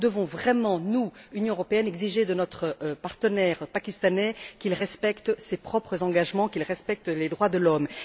Nous devons donc vraiment, nous, Union européenne, exiger de notre partenaire pakistanais qu'il respecte ses propres engagements, qu'il respecte les droits de l'homme.